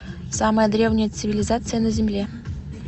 самая древняя цивилизация на земле